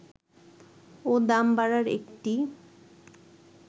ও দাম বাড়ার একটি